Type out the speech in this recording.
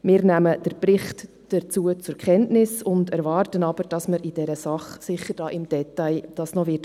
Wir nehmen den Bericht dazu zur Kenntnis, erwarten aber, dass man diese Sache noch im Detail angehen wird.